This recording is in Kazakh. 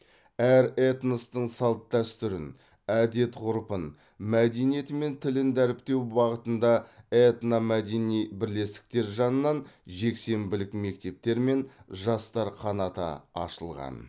әр этностың салт дәстүрін әдеп ғұрпын мәдениеті мен тілін дәріптеу бағытында этномәдени бірлестіктер жанынан жексенбілік мектептер мен жастар қанаты ашылған